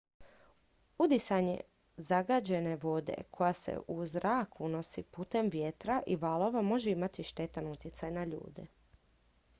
udisanje zagađene vode koja se u zrak unosi putem vjetra i valova može imati štetan utjecaj na ljude